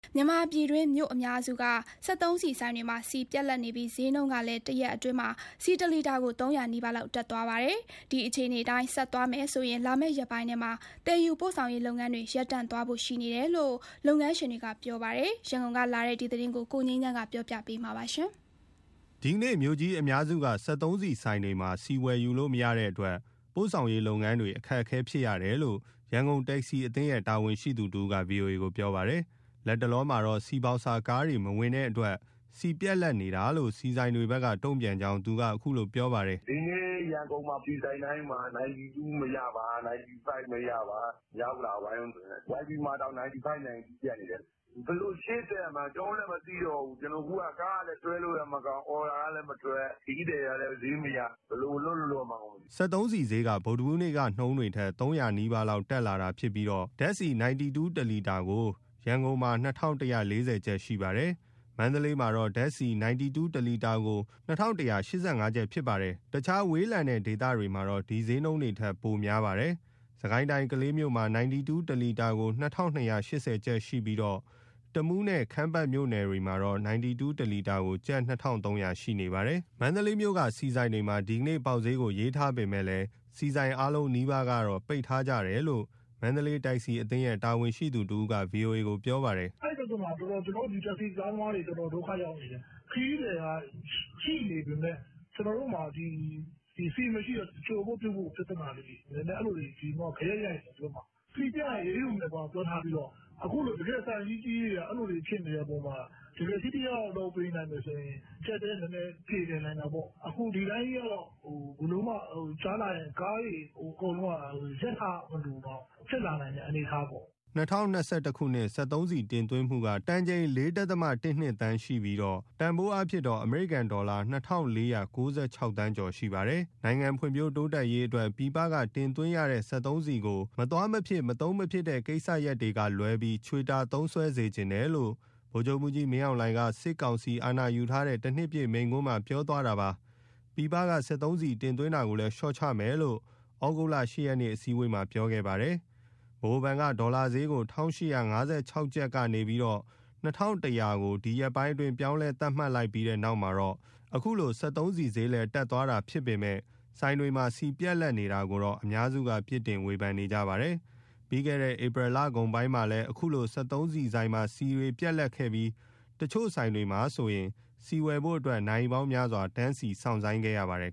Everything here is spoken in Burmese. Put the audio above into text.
မြန်မာပြည်တွင်း မြို့အများစုက စက်သုံးဆီဆိုင်တွေမှာ ဆီပြတ်လပ်နေပြီး ဈေးနှုန်းကလည်း တရက်အတွင်းမှာ ဆီတလီတာကို ၃၀၀ နီးပါးလောက် တက်သွားပါတယ်။ ဒီအခြေအနေအတိုင်း ဆက်သွားမယ်ဆိုရင် လာမယ့်ရက်ပိုင်းထဲမှာ သယ်ယူပို့ဆောင်ရေးလုပ်ငန်းတွေ ရပ်တန့် သွားဖို့ရှိတယ်လို့ လုပ်ငန်းရှင်တွေက ပြောပါတယ်။ ရန်ကုန်ကလာတဲ့ဒီသတင်းကို ကိုငြိမ်းချမ်းက တင်ပြပေးထားပါတယ်။ ဒီနေ့မြို့ကြီးအများစုက စက်သုံးဆီဆိုင်တွေမှာ ဆီဝယ်ယူလို့မရတဲ့အတွက် ပို့ဆောင်ရေးလုပ်ငန်းတွေအတွက် အခက်အခဲဖြစ်ရတယ်လို့ ရန်ကုန်တက္ကစီအသင်းရဲ့တာဝန်ရှိသူတဦးက ဗွီအိုအေ ကိုပြောပါတယ်။ လတ်တလောမှာတော့ ဆီဘောက်ဆာကားတွေမဝင်တဲ့အတွက် ဆီပြတ် လပ်နေတာလို့ ဆီဆိုင်တွေဘက်က တုံ့ပြန်ကြောင်း သူကပြောပါတယ်။ "ဒီနေ့ရန်ကုန်မှာ ဆီဆိုင်တိုင်းမှာ 92 မရပါ၊ 95 မရပါ။ မြောက်ဥက္ကလာအဝိုင်း YP မှာတောင် 92/95 ပြတ်နေတယ်။ ဘယ်လိုရှေ့ဆက်ရမှန်း ကျနော်တို့လည်း မသိတော့ဘူး။ အခုက ကားကလည်း ဆွဲလို့လည်းမကောင်း၊ အော်ဒါကလည်းမထွက်၊ ခရီးသည်ကလည်း ဈေးမရ၊ ဘယ်လိုလုပ်လို့ လုပ်ရမှန်းကိုမသိဘူး။" စက်သုံးဆီဈေးက ဗုဒ္ဓဟူးနေ့က နှုန်းတွေထက် ၃၀၀ နီးပါးလောက် တက်လာတာဖြစ်ပြီး ဓာတ်ဆီ 92 တလီတာကို ရန်ကုန်မှာ ၂,၁၄၀ ကျပ် ရှိပါတယ်။ မန္တလေးမှာတော့ ဓာတ်ဆီ 92 တလီတာကို ၂,၁၈၅ ကျပ်ဖြစ်ပါတယ်။ တခြားဝေးလံတဲ့ ဒေသတွေမှာ ဒီဈေးနှုန်းတွေထက် ပိုပြီးများပါတယ်။ စစ်ကိုင်းတိုင်းကလေးမြို့မှာ 92 တလီတာကို ၂,၂၈၀ ကျပ်ရှိပြီး တမူးနဲ့ ခမ်းပါတ်မြို့နယ်တွေမှာတော့ 92 တလီတာကို ကျပ် ၂,၃၀၀ ရှိနေပါတယ်။ မန္တလေးမြို့က ဆီဆိုင်တွေမှာ ဒီနေ့ပေါက်ဈေးကို ရေးထားပေမယ့် ဆီဆိုင်အားလုံးနီးပါကတော့ ပိတ်ထားကြတယ်လို့ မန္တလေးတက္ကစီအသင်းရဲ့ တာဝန်ရှိသူတဦးက ဗွီအိုအေကို ပြောပါတယ်။ "အဲဒီပြဿနာက ကျနော်တို့ တက္ကစီကားသမားတွေ တော်တော်ဒုက္ခရောက်နေတယ်။ ခရီးသည်ကရှိနေပေမယ့် ကျနော်တို့မှာဆီမရှိတော့ ကြိုဖို့ပြုဖို့ပြဿနာလေးတွေ အဲလိုတွေ ဂယက် ရိုက်နေတယ် ဒီဘက်မှာ။ ဆီပြတ်ရင် အရေးယူမယ်ပြောထားပြီးတော့ တကယ့်ဆိုင်ကြီးကြီးတွေက အဲလိုတွေဖြစ်နေတဲ့အပေါ်မှာ တကယ် ထိထိရောက်ရောက် လုပ်ပေးနိုင်မယ်ဆိုရင် အကျပ်အတည်းနည်းနည်း ပြေလည်နိုင်တာပေါ့။ အခုဒီအတိုင်းကြီးကတော့ ကြာလာရင် ကားတွေအကုန်လုံးက ရပ်ထားရမလိုတောင် ဖြစ်လာနိုင်တဲ့ အနေအထားပေါ့။" ၂၀၂၁ ခုနှစ် စက်သုံးဆီတင်သွင်းမှုက တန်ချိန် ၄.၁၂ သန်းရှိပြီးရှိပြီး တန်ဖိုးအားဖြင့် အမေရိကန်ဒေါ်လာ ၂,၄၉၆.၆၅၂ သန်းရှိပါတယ်။ နိုင်ငံဖွံ့ဖြိုးတိုးတက်ရေးအတွက် ပြည်ပကတင်သွင်းရတဲ့ စက်သုံးဆီကို မသွားမဖြစ်၊ မသုံးမဖြစ်တဲ့ ကိစ္စရပ်များမှအပ ချွေတာသုံးစွဲစေချင်တယ်လို့ ဗိုလ်ချုပ်မှူးကြီး မင်းအောင်လှိုင်က စစ်ကောင်စီအာဏာယူတဲ့ တနှစ်ပြည့်မိန့်ခွန်းမှာ ပြောထားတာပါ။ ပြည်ပက စက်သုံးဆီ တင်သွင်းတာကိုလည်း လျှော့ချမယ်လို့ ဩဂုတ်လ ၈ ရက်အစည်းအဝေးမှာ သူကပြောခဲ့တာပါ။ ဗဟိုဘဏ်က ဒေါ်လာဈေးကို ၁,၈၅၆ကျပ်ကနေ ၂,၁၀၀ကျပ်ကို ဒီရက်ပိုင်း ပြောင်းလဲသတ်မှတ်ပြီးတဲ့နောက်မှာ အခုလိုစက်သုံးဆီဈေးလည်း လိုက်တက်လာတာဖြစ်ပေမဲ့ ဆိုင်တွေမှာ ဆီပြတ်လပ်နေတာကိုတော့ အများစုက ပြစ်တင်ဝေဖန်နေကြပါတယ်။ ပြီးခဲ့တဲ့ ဧပြီလကုန်ပိုင်းမှာလည် အခုလို စက်ဆုံးဆီဆိုင်တွေမှာ ဆီပြတ်လပ်ခဲ့ပြီး တချို့ဆိုင်တွေမှာဆိုရင် ဆီဝယ်ဖို့အတွက် နာရီပေါင်းများစွာ စောင့်ဆိုင်းခဲ့ရပါတယ်